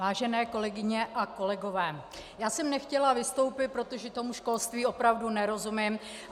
Vážené kolegyně a kolegové, já jsem nechtěla vystoupit, protože tomu školství opravdu nerozumím.